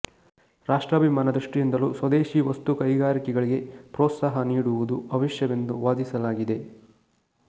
ರಾಷ್ಟ್ರಾಭಿಮಾನ ದೃಷ್ಟಿಯಿಂದಲೂ ಸ್ವದೇಶಿ ವಸ್ತು ಕೈಗಾರಿಕೆಗಳಿಗೆ ಪ್ರೋತ್ಸಾಹ ನೀಡುವುದು ಅವಶ್ಯವೆಂದು ವಾದಿಸಲಾಗಿದೆ